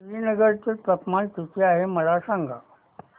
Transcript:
श्रीनगर चे तापमान किती आहे मला सांगा